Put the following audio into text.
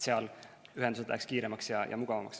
Seal läheksid ühendused kiiremaks ja mugavamaks.